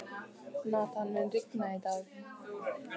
Nathan, mun rigna í dag?